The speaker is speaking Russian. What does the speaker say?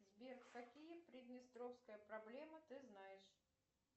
сбер какие приднестровская проблема ты знаешь